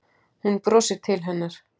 Hún brosir til hennar.